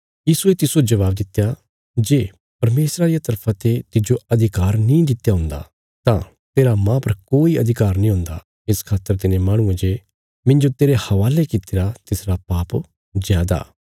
यीशुये तिस्सो जबाब दित्या जे परमेशरा रिया तरफा ते तिज्जो अधिकार नीं दित्या हुन्दा तां तेरा मांह पर कोई अधिकार नीं हुंदा इस खातर तिने माहणुये जे मिन्जो तेरे हवाले कित्तिरा तिसरा पाप जादा